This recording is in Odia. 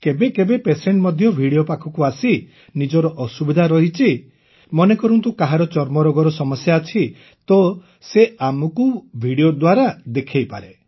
କେବେ କେବେ ଭିଡିଓ ମଧ୍ୟ Patientରେ ପାଖକୁ ଆସି ନିଜର ଅସୁବିଧା ରହିଛି ମନେକରନ୍ତୁ କାହାରି ଚର୍ମରୋଗର ସମସ୍ୟା ଅଛି ତ ସେ ଆମକୁ ଭିଡିଓ ଦ୍ୱାରା ଦେଖାଇପାରେ